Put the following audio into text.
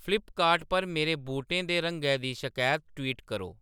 Flipkart पर मेरे बूटें दे रंगै दी शकैत ट्वीट करो